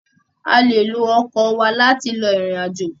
À lé ló ọkọ̀ wa láti lọ ìrìnàjò